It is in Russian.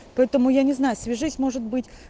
поэтому я не знаю свяжись может быть